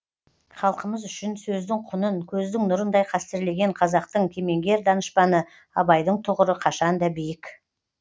халқымыз үшін сөздің құнын көздің нұрындай қастерлеген қазақтың кемеңгер данышпаны абайдың тұғыры қашанда биік